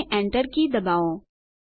અને Enter key દબાવો